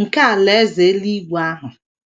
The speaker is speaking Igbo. nke Alaeze eluigwe ahụ.